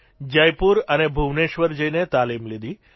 જયપુર અને ભુવનેશ્વર જઇને તાલીમ લીધી